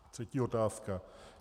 Třetí otázka.